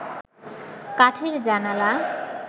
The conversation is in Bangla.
কাঠের জানালা